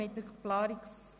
Wir gehen so vor.